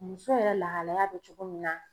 Muso yɛrɛ lahalaya bɛ cogo min na.